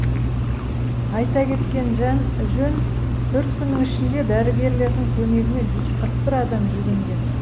айта кеткен жөн төрт күннің ішінде дәрігерлердің көмегіне жүз қырық бір адам жүгінген